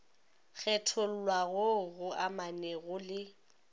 kgethollwa goo go amanego le